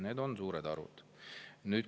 Need on suured arvud.